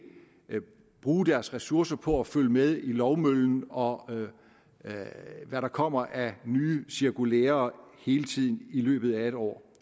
kan bruge deres ressourcer på at følge med i lovmøllen og med i hvad der kommer af nye cirkulærer hele tiden i løbet af et år